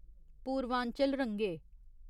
पूर्वांचल रंगे